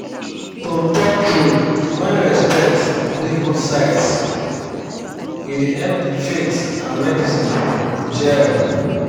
to talk true when respect dey both sides e dey help faith and medicine jell